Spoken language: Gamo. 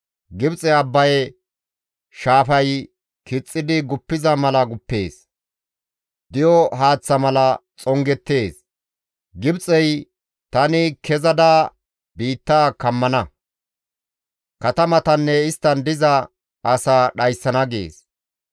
Gibxey Abbaye shaafay kixxidi guppiza mala guppees; di7o haaththa mala xongettees; Gibxey, ‹Tani kezada biitta kammana; katamatanne isttan diza asaa dhayssana› gees.